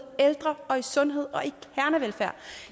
ældre og i sundhed og